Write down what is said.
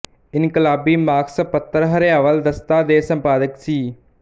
ਇਨਕਲਾਬੀ ਮਾਸਕ ਪੱਤਰ ਹਰਿਆਵਲ ਦਸਤਾ ਦੇ ਸੰਪਾਦਕ ਸੀ